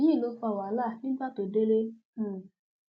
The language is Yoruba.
èyí ló fa wàhálà nígbà tó délé um